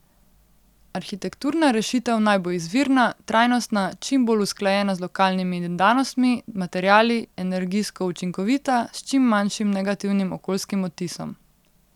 Arhitekturna rešitev naj bo izvirna, trajnostna, čim bolj usklajena z lokalnimi danostmi, materiali, energijsko učinkovita, s čim manjšim negativnim okoljskim odtisom.